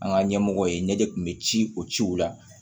An ka ɲɛmɔgɔ ye ɲɛjɛ kun be ci o ciw la